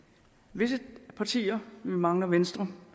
visse partier vi mangler venstre